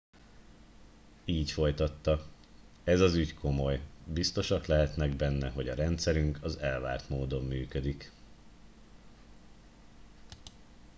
így folytatta ez az ügy komoly biztosak lehetnek benne hogy a rendszerünk az elvárt módon működik